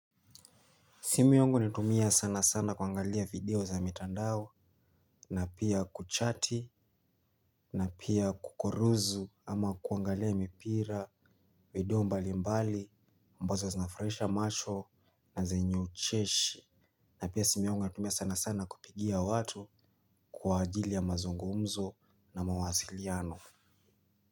Simu yangu natumia sana sana kuangalia video za mitandao na pia kuchati na pia kukoruzu ama kuangalia mipira video mbali mbali ambazo zinanifurahisha macho na zenye ucheshi. Na pia simu yungu natumia sana sana kupigia watu kwa ajili ya mazungumzo na mawasiliano.